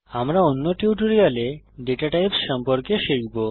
আমরা অন্য টিউটোরিয়ালে দাতা টাইপস সম্পর্কে শিখব